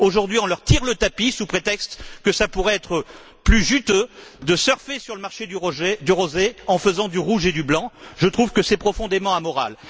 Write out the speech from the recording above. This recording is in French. Aujourd'hui, on leur tire le tapis sous prétexte que ça pourrait être plus juteux de surfer sur le marché du rosé en faisant du rouge et du blanc. Je trouve que c'est profondément amoral.